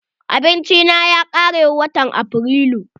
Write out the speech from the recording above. Abinci na ya kare watan Afrilu.